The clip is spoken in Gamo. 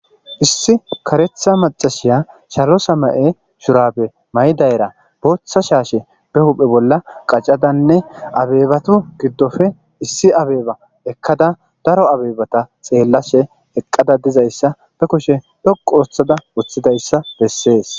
issi karetha macashiya salo samaye shurabe may7dayra booththa shaashe be huphe bolla qacadanne abeebatu giddofe issi abeeba ekkada daro abeebata xeellashe eqqada dizayssa be kushe dhoqu wothada wuththidayssa bessees